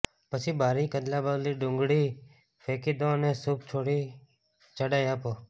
પછી બારીક અદલાબદલી ડુંગળી ફેંકી દો અને સૂપ થોડી જાડાઈ આપો